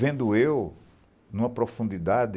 Vendo eu, em uma profundidade